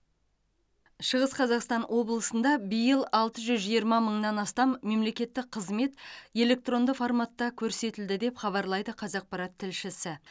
шығыс қазақстан облысында биыл алты жүз жиырма мыңнан астам мемлекеттік қызмет электронды форматта көрсетілді деп хабарлайды қазақпарат тілшісі